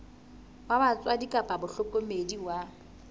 wa batswadi kapa mohlokomedi wa